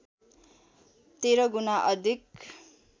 १३ गुना अधिक